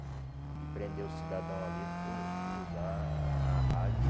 E prender o cidadão ali por por usar a rádio...